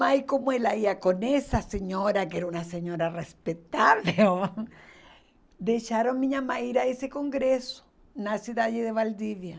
Mas como ela ia com essa senhora, que era uma senhora respeitável, deixaram minha mãe ir a esse congresso na cidade de Valdivia.